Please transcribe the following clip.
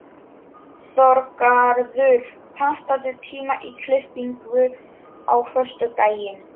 Þorgarður, pantaðu tíma í klippingu á föstudaginn.